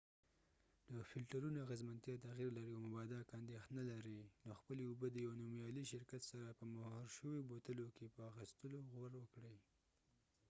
د فلټرونو اغېزمنتیا تغیر لري او مبادا که اندېښنه لرئ نو خپلې اوبه د یوې نومیالي شرکت سره په مهرشویو بوتلو کې په اخستلو غور وکړئ